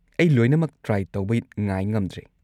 ꯑꯩ ꯂꯣꯏꯅꯃꯛ ꯇ꯭ꯔꯥꯏ ꯇꯧꯕ ꯉꯥꯏ ꯉꯝꯗ꯭ꯔꯦ꯫